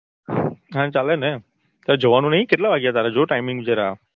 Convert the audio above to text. હા ચાલે ને તારે જવાનું નઈ કેટલા વાગ્યા તારે જો timeing જરા